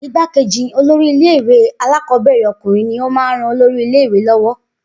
Igbákejì olórí ilé ìwé alákọ̀ọ́bẹ̀rẹ̀ ọkùnrin ní o máa ń rán olórí ilé ìwé lọ́wọ́